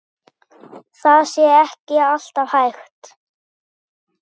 Það sé ekki alltaf hægt.